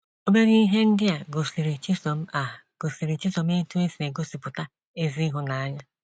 Obere ihe ndị a gosiri Chisom a gosiri Chisom otú e si egosipụta ezi ịhụnanya.